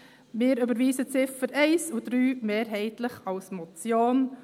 Wir überweisen die Ziffern 1 und 3 mehrheitlich als Motion.